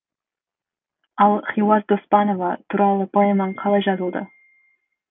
ал хиуаз доспанова туралы поэмаң қалай жазылды